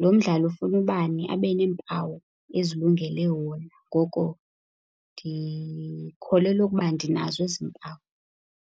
Lo mdlalo ufuna ubani abe neempawu ezilungele wona, ngoko ndikholelwa ukuba ndinazo ezi mpawu.